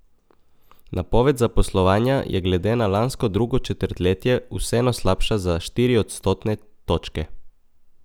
Napoved zaposlovanja je glede na lansko drugo četrtletje vseeno slabša za štiri odstotne točke.